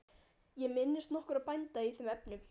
Ég minnist nokkurra bænda í þeim efnum.